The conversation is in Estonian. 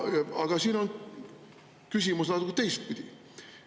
Aga siin on küsimus natuke teistpidi.